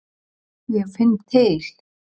Ég finn til.